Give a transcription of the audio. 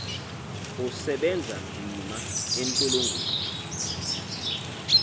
usebenza nzima entolongweni